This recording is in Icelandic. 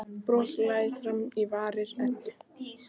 Bros læðist fram á varir Eddu.